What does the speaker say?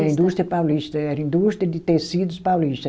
Indústria Paulista, era indústria de tecidos Paulista.